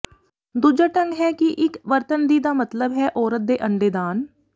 ਦੂਜਾ ਢੰਗ ਹੈ ਕਿ ਇੱਕ ਵਰਤਣ ਦੀ ਦਾ ਮਤਲਬ ਹੈ ਔਰਤ ਦੇ ਅੰਡੇ ਦਾਨ